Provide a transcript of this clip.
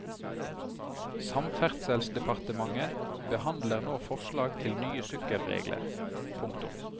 Samferdselsdepartementet behandler nå forslag til nye sykkelregler. punktum